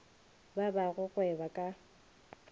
ba ba go gweba ka